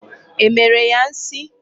E mere ya nsi.